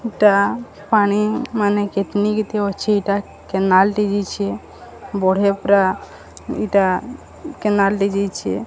ଟା ପାଣି ମାନେ କେତନି କେତେ ଅଛେ ଏଟା କେନାଲ୍ ଟେ ଯେଇଛେ ବଢ଼ିଆ ପୁରା ଇଟା କେନାଲ୍ ଟେ ଯେଇଛେ।